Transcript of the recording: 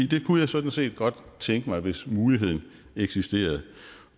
det kunne jeg sådan set godt tænke mig hvis muligheden eksisterede